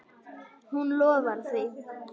Hún lofar því.